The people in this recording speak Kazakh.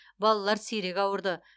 балалар сирек ауырды